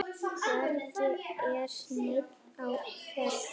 Hvergi er neinn á ferli.